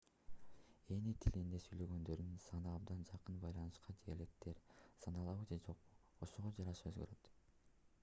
эни тилинде сүйлөгөндөрдүн саны абдан жакын байланышкан диалекттер саналабы же жокпу ошого жараша өзгөрөт